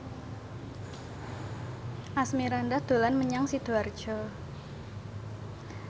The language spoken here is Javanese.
Asmirandah dolan menyang Sidoarjo